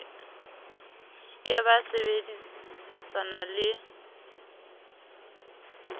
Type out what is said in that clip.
e be ba sebedisana le